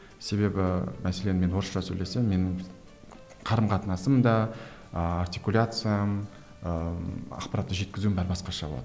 себебі мәселен мен орысша сөйлесем менің қарым қатынасым да артикуляциям ыыы ақпаратты жеткізуім бәрі басқаша болады